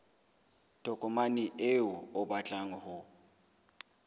tokomane eo o batlang ho